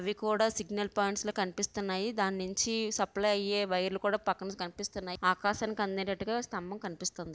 ఇవి కూడా signal points లా కనిపిస్తున్నాయి దాన్నుంచి సప్లై అయ్యే వైర్లు కూడా పక్కనుంచి కనిపిస్తున్నాయి ఆకాశంకి అందేటట్టుగా స్తంభం కనిపిస్తుంది.